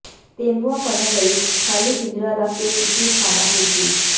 ਤੇਂਦੂਆ ਫੜਨ ਲਈ ਖ਼ਾਲੀ ਪਿੰਜਰਾ ਰੱਖ ਕੇ ਕੀਤੀ ਖ਼ਾਨਾਪੂਰਤੀ